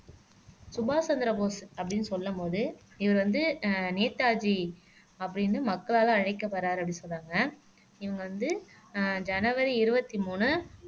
சுபாஷ் சந்திரபோஸ் அப்படின்னு சொல்லும் போது இது வந்து அஹ் நேதாஜி அப்படின்னு மக்களால அழைக்கப்படுறார் அப்படின்னு சொன்னாங்க இவங்க வந்து அஹ் ஜனவரி இருபத்தி மூணு